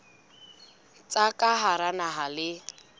tsa ka hara naha le